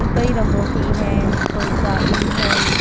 अ कई रंगों की है कोई काली है नीली --